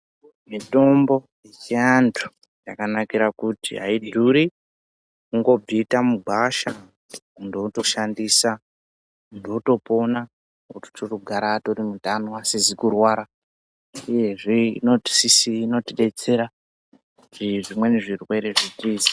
Mitombo yechiantu yakanakira kuti aidhuri kundobvita mugwasha muntu wotoshandisa muntu wotopona ochitogara atori mutano asizikurwara uyezve inotidetsera zvimweni zvirwere zvitize.